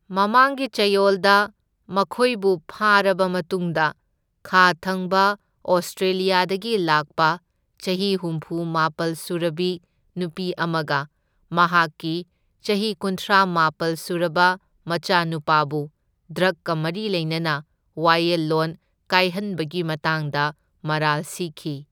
ꯃꯃꯥꯡꯒꯤ ꯆꯌꯣꯜꯗ ꯃꯈꯣꯏꯕꯨ ꯐꯥꯔꯕ ꯃꯇꯨꯡꯗ ꯈꯥ ꯊꯪꯕ ꯑꯣꯁꯇ꯭ꯔꯦꯂꯤꯌꯥꯗꯒꯤ ꯂꯥꯛꯄ ꯆꯍꯤ ꯍꯨꯝꯐꯨ ꯃꯥꯄꯜ ꯁꯨꯔꯕꯤ ꯅꯨꯄꯤ ꯑꯃꯒ ꯃꯍꯥꯛꯀꯤ ꯆꯍꯤ ꯀꯨꯟꯊ꯭ꯔꯥ ꯃꯥꯄꯜ ꯁꯨꯔꯕ ꯃꯆꯥꯅꯨꯄꯥꯕꯨ ꯗ꯭ꯔꯒꯀ ꯃꯔꯤ ꯂꯩꯅꯅ ꯋꯥꯌꯦꯜꯂꯣꯟ ꯀꯥꯏꯍꯟꯕꯒꯤ ꯃꯇꯥꯡꯗ ꯃꯔꯥꯜ ꯁꯤꯈꯤ꯫